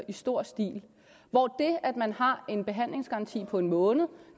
i stor stil hvor det at man har en behandlingsgaranti på en måned